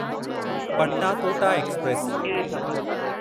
Patna Kota express